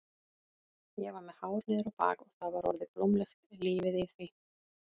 Ég var með hár niður á bak og það var orðið blómlegt lífið í því.